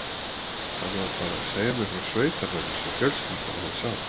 Hann var bara að segja mér frá sveitabænum sem fjölskyldan hans á.